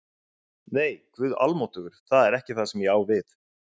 Nei, Guð almáttugur, það er ekki það sem ég á við